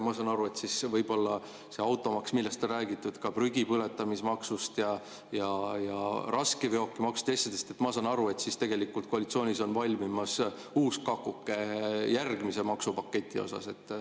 Ma saan aru, mõeldes automaksule, millest on räägitud, ka prügipõletamismaksule, raskeveokimaksule ja teistele, et tegelikult koalitsioonis on valmimas uus kakuke järgmise maksupaketina.